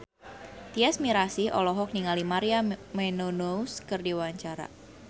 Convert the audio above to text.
Tyas Mirasih olohok ningali Maria Menounos keur diwawancara